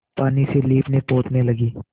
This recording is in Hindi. पानी से लीपनेपोतने लगी